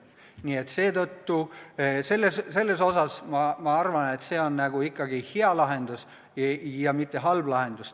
Nii et seetõttu arvan ma, et see on ikkagi hea lahendus, mitte halb lahendus.